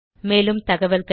மேலும் தகவல்களுக்கு